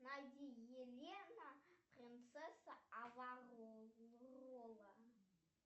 найди елена принцесса аварола